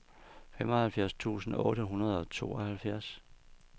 femoghalvfjerds tusind otte hundrede og tooghalvfjerds